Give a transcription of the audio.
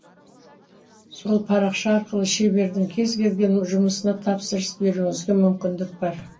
сол парақша арқылы шебердің кез келген жұмысына тапсырыс беруіңізге мүмкіндік бар